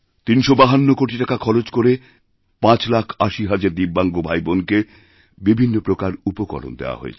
৩৫২ কোটি টাকা খরচ করে ৫৮০০০০ দিব্যাঙ্গ ভাইবোনকে বিভিন্ন প্রকার উপকরণ দেওয়াহয়েছে